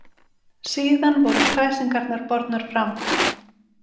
Síðan voru kræsingarnar bornar fram.